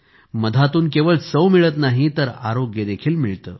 मधातून केवळ चव मिळत नाही तर आरोग्य देखील मिळते